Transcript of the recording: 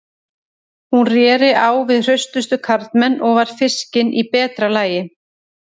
Hún réri á við hraustustu karlmenn og var fiskin í betra lagi.